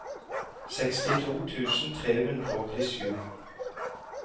sekstito tusen tre hundre og åttisju